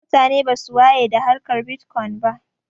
Mutane basu waye da harkar bitkwon ba